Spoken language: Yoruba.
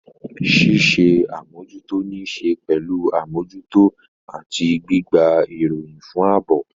Ṣíṣe àmójútó ní í ṣe pẹ̀lú àmójútó àti gbígba ìròyìn fún ààbò.